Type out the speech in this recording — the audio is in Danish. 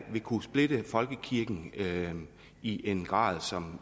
vil kunne splitte folkekirken i en grad som